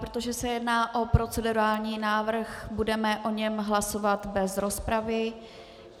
Protože se jedná o procedurální návrh, budeme o něm hlasovat bez rozpravy.